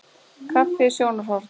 Kaffi- sjónarhorn.